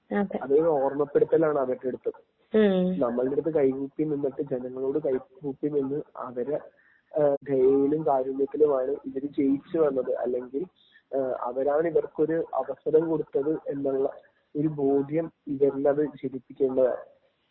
അതൊക്കെ ഒരു ഓർമപ്പെടുത്തലാണ് അതൊക്കെയെടുത്ത്. നമ്മുടെ അടുത്ത് കൈ കൂപ്പി നിന്നിട്ട് ജനങ്ങളോട് കൈകൂപ്പിനിന്ന് അവരെ ദയയിലും കാരുണ്യത്തിലുമാണ് ഇവർ ജയിച്ചു വന്നത്. അല്ലെങ്കിൽ അവരാണ് ഇവർക്ക് ഒരു അവസരം കൊടുത്തത് എന്നുള്ള ഒരു ബോധ്യം ഇവരിലത് ജനിപ്പിക്കേണ്ടതാണ്.